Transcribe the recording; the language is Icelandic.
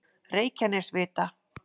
Reykjanesvita